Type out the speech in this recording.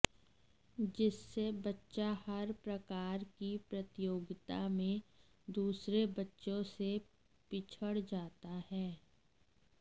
जिससे बच्चा हर प्रकार की प्रतियोगिता में दूसरे बच्चों से पिछड़ जाता है